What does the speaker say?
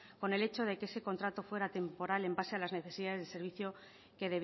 con el hecho de que ese contrato fuera temporal en base a las necesidades de servicio que